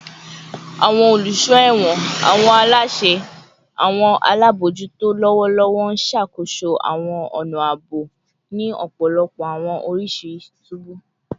Awọn oluso ẹwọn / awọn alaṣẹ / awọn alabojuto lọwọlọwọ n ṣakoso awọn ọna aabo ni ọpọlọpọ awọn oriṣi tubu